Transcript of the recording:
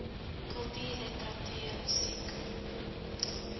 kultuur literatuur musiek